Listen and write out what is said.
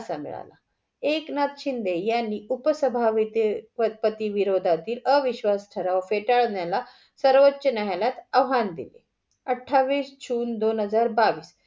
एकनाथ शिंदे यांनी उपसभापती विरोधातील अविश्वास ठराव फेटाळण्याला सर्वोचा न्यायालयात आव्हान दिले. अठावीस जून दोन हजार बावीस.